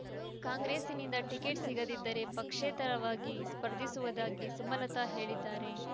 ಕಾಂಗ್ರೆಸ್‌ನಿಂದ ಟಿಕೆಟ್ ಸಿಗದಿದ್ದರೆ ಪಕ್ಷೇತರವಾಗಿ ಸ್ಪರ್ಧಿಸುವುದಾಗಿ ಸುಮಲತ ಹೇಳಿದ್ದಾರೆ